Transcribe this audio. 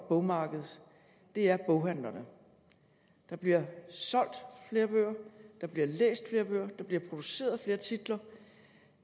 bogmarked er boghandlerne der bliver solgt flere bøger der bliver læst flere bøger der bliver produceret flere titler